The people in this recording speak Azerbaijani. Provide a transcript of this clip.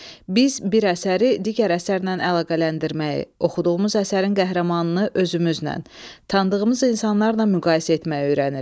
Biz bir əsəri digər əsərlə əlaqələndirməyi, oxuduğumuz əsərin qəhrəmanını özümüzlə, tanıdığımız insanlarla müqayisə etməyi öyrənirik.